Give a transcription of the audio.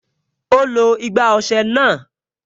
Ó lo igbá ọsẹ náà